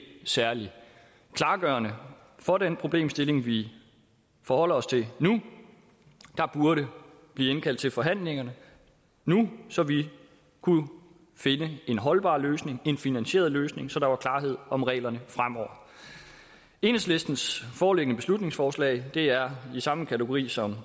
særlig klargørende for den problemstilling vi forholder os til nu der burde blive indkaldt til forhandlinger nu så vi kunne finde en holdbar løsning en finansieret løsning så der var klarhed om reglerne fremover enhedslistens foreliggende beslutningsforslag er i samme kategori som